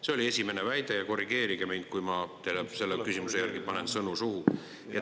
See oli esimene väide, korrigeerige mind, kui ma teile selle küsimuse järgi panen sõnu suhu.